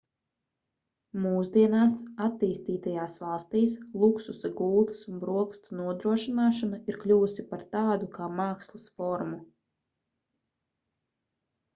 mūsdienās attīstītajās valstīs luksusa gultas un brokastu nodrošināšana ir kļuvusi par tādu kā mākslas formu